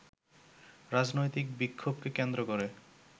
রাজনৈতিক বিক্ষোভকে কেন্দ্র করে